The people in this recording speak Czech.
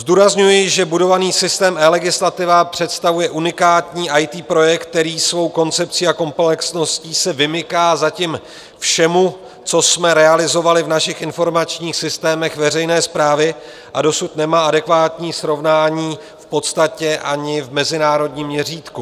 Zdůrazňuji, že budovaný systém eLegislativa představuje unikátní IT projekt, který svou koncepcí a komplexností se vymyká zatím všemu, co jsme realizovali v našich informačních systémech veřejné správy, a dosud nemá adekvátní srovnání v podstatě ani v mezinárodním měřítku.